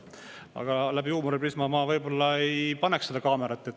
Aga läbi huumoriprisma, ma võib-olla ei paneks seda kaamerat.